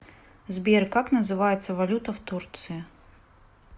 сбер как называется валюта в турции